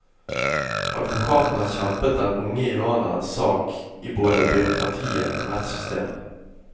Advokaten har kjempet den unge iranerens sak i både byråkratiet og rettssystemet.